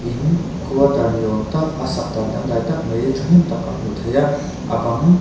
in quarter ni awm tak a sak dan dangdai tak mai thahnem tak a hmuh theih a a bang--